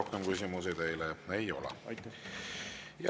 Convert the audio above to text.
Rohkem küsimusi teile ei ole.